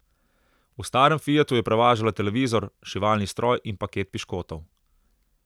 V starem Fiatu je prevažala televizor, šivalni stroj in paket piškotov.